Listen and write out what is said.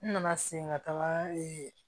N nana segin ka taa